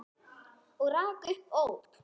Og rak upp óp.